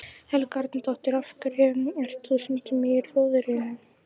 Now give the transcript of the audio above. Helga Arnardóttir: Af hverju ert þú stundum í Rjóðrinu?